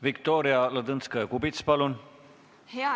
Viktoria Ladõnskaja-Kubits, palun!